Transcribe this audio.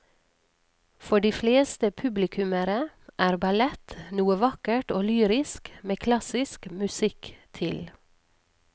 For de fleste publikummere er ballett noe vakkert og lyrisk med klassisk musikk til.